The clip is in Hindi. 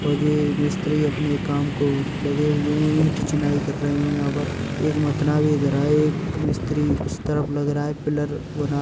और जे मिस्त्री अपने काम को लगे हुए हैं ईट चिनाई कर रहे हैं यहाँ पर एक मथना ये धरा है एक मिस्त्री उस तरफ लग रहा है | पिलर बना--